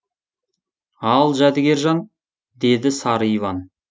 ал жәдігержан деді сары иван